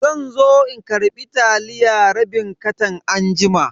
Zanzo in karbi taliya rabin katan anjima.